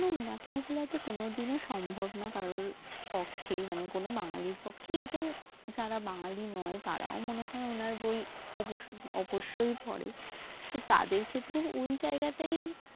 রাতের বেলা তহ কোনও দিন সম্ভব না কারও পক্ষে মানে কোনও বাঙ্গালির পক্ষে এবং যারা বাঙালি নয় তারাও মনে হয় ওনার বই অব্বশই পড়ে তাদের ক্ষেত্রে ওই জায়গাটাই